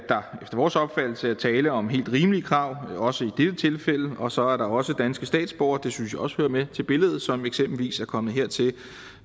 der efter vores opfattelse er tale om helt rimelige krav også i dette tilfælde og så er der også danske statsborgere det synes jeg også hører med til billedet som eksempelvis er kommet hertil